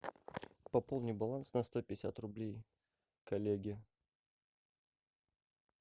пополни баланс на сто пятьдесят рублей коллеге